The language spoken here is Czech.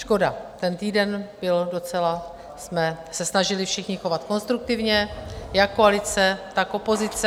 Škoda, ten týden byl... docela jsme se snažili všichni chovat konstruktivně, jak koalice, tak opozice.